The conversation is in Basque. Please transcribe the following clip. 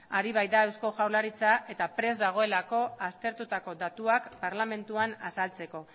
ari baita eusko jaurlaritza eta prest dagoelako aztertutako datuak parlamentuan azaltzeko